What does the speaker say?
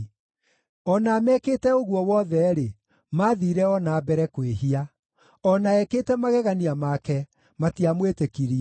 O na amekĩte ũguo wothe-rĩ, mathiire o na mbere kwĩhia; o na ekĩte magegania make, matiamwĩtĩkirie.